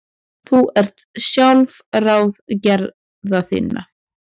Þú ert sjálfráð gerða þinna.